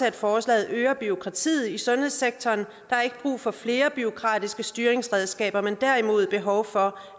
at forslaget øger bureaukratiet i sundhedssektoren der er ikke brug for flere bureaukratiske styringsredskaber men derimod behov for